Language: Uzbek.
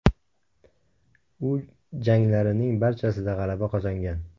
U janglarining barchasida g‘alaba qozongan.